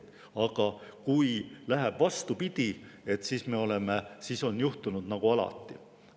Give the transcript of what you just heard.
Aga kui läheb vastupidi, siis on juhtunud nagu alati.